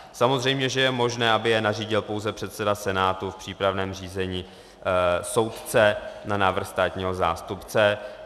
Samozřejmě že je možné, aby je nařídil pouze předseda senátu v přípravném řízení, soudce na návrh státního zástupce.